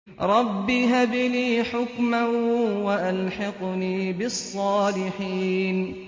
رَبِّ هَبْ لِي حُكْمًا وَأَلْحِقْنِي بِالصَّالِحِينَ